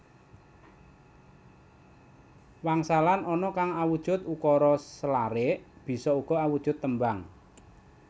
Wangsalan ana kang awujud ukara selarik bisa uga awujud tembang